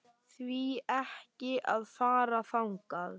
Því ekki að fara bara þangað?